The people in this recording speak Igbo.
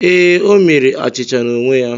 Ee, o mere achịcha n’onwe ya.